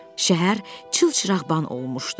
Şəhər çılçıraqlan olmuşdu.